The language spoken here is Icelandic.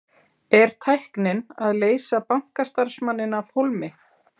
Er tæknin að leysa bankastarfsmanninn af hólmi?